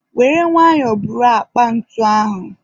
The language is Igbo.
were nwayọ buru akpa ntu ahụ